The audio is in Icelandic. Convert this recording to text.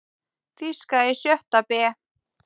Þýska í sjötta bé.